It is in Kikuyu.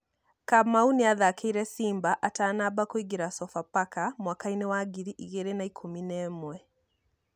Kamau nĩathakĩire Simba atanamba kũingira Sofapaka mwakaĩnĩ wa ngiri ĩgĩrĩ na ikũmi na ĩmwe.